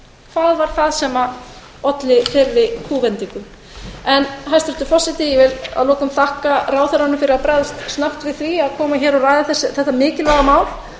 hvað olli þeirri kúvendingu hæstvirtur forseti ég vil að lokum þakka ráðherranum fyrir að bregðast snöggt við því að koma hingað og ræða þetta mikilvæga mál